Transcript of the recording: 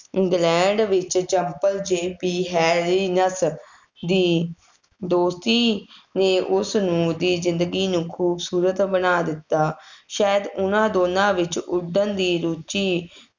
England ਵਿੱਚ ਜੰਮਪਲ J P ਹੈਰੀਨੱਤ ਦੀ ਦੋਸਤੀ ਨੇ ਉਸਨੂੰ ਉਸਦੀ ਜ਼ਿੰਦਗੀ ਨੂੰ ਖੂਬਸੂਰਤ ਬਣਾ ਦਿੱਤਾ, ਸ਼ਾਇਦ ਉਹਨਾ ਦੋਨਾਂ ਵਿੱਚ ਉੱਡਣ ਦੀ ਰੁਚੀ